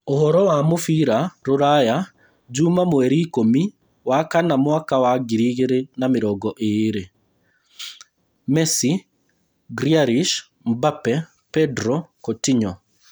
Ũhoro wa mũbira rũraya juma mweri ikũmi wakana mwaka wa ngiri igĩrĩ na mĩrongo ĩĩrĩ: Messi, Grealish, Mbappe, Pedro, Coutinho